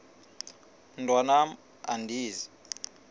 mntwan am andizi